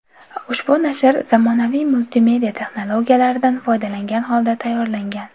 Ushbu nashr zamonaviy multimedia texnologiyalaridan foydalangan holda tayyorlangan.